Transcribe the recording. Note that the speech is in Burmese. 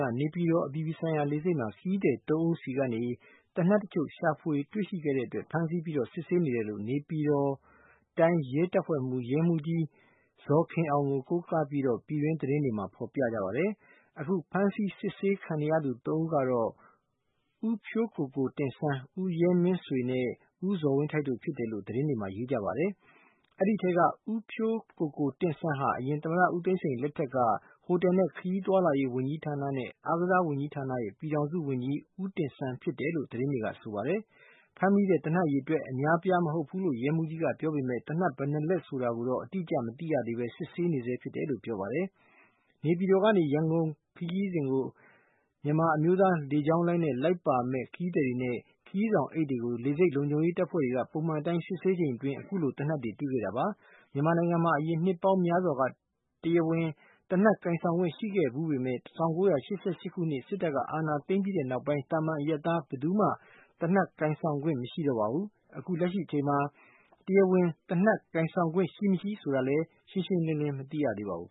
က နေပြည်တော် အပြည်ပြည်ဆိုင်ရာလေဆိပ်မှာ ခရီးသည်သုံးဦးဆီကနေ သေနတ်တချို့ ရှာတွေ့တဲ့အတွက် ဖမ်းဆီးပြီး စစ်ဆေးနေတယ်လို့ နေပြည်တော်တိုင်း ရဲတပ်ဖွဲ့မှူး ရဲမှူးကြီးဇော်ခင်အောင် ကို ကိုးကားပြီး ပြည်တွင်းသတင်းတွေမှာ ဖော်ပြကြပါတယ်။ အခု ဖမ်းဆီးစစ်ဆေးခံနေရသူသုံးဦးကတော့ ဦးဖြိုးကိုကိုတင့်ဆန်း၊ ဦးရဲမင်းဆွေနဲ့ ဦးဇော်ဝင်းထိုက်တို့ ဖြစ်တယ်လို့လဲ သတင်း တွေမှာ ရေးကြပါတယ်။ အဲဒီထဲက ဦးဖြိုးကိုကိုတင့်ဆန်းဟာ အရင် သမ္မတဦးသိန်းစိန်အစိုးရလက်ထက်က ဟိုတယ်နဲ့ခရီးသွား လာရေးဝန်ကြီးဌာနနဲ့ အားကစားဝန်ကြီးဌာနတွေရဲ့ ပြည်ထောင်စုဝန်ကြီး ဦးတင့်ဆန်းရဲ့သားဖြစ်တယ်လို့လဲ သတင်းတွေကဆိုပါတယ်။ ဖမ်းမိတဲ့ သေနတ်အရေအတွက်က အများအပြားမဟုတ်ဘူးလို့ ရဲမှူးကြီးကပြောပေမဲ့လဲ သေနတ် ဘယ်နှစ်လက်ဆိုတာကိုတော့ အတိအကျ မသိရသေးဘဲ စစ်ဆေးနေဆဲလို့ပြောပါတယ်။ နေပြည်တော်ကနေ ရန်ကုန်ခရီးစဉ်ကို မြန်မာအမျိုးသားလေကြောင်းလိုင်းနဲ့ လိုက်ပါမယ့် ခရီးသည်တွေနဲ့ ခရီးဆောင်အိတ်တွေ ကို လေဆိပ်လုံခြုံရေးတပ်ဖွဲ့ဝင်တွေက ပုံမှန်အတိုင်း စစ်ဆေးချိန်အတွင်း အခုလို သေနတ်တွေကို တွေ့ခဲ့တာပါ။ မြန်မာနိုင်ငံမှာ အရင် နှစ်ပေါင်းများစွာက တရားဝင် သေနတ်ကိုင်ဆောင်ခွင့် ရှိခဲ့ဖူးပေမဲ့လဲ ၁၉၈၈ ခုနှစ်မှာ စစ်တပ်က အာဏာ သိမ်းပြီးနောက်ပိုင်းကတည်းက သာမန်အရပ်သား ဘယ်သူမှ သေနတ်ကိုင်ဆောင်ခွင့် မရှိတော့ပါဘူး။ အခုလက်ရှိအချိန်မှာ တရားဝင် သေနတ်ကိုင်ဆောင်ခွင့် ရှိမရှိဆိုတာလဲ ရှင်းရှင်းလင်းလင်း မသိရပါဘူး